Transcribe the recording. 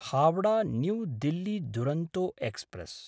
Howrah new Delhi Duronto express